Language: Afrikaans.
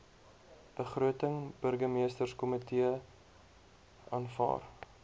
begroting burgemeesterskomitee aanvaar